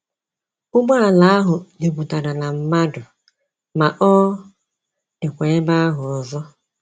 Ụgbọ ala ahụ juputara na mmadụ, ma ọ dịkwa ebe ahụ ọzọ.